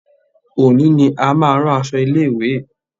Òní ni a máa rán aṣọ ilé ìwé y.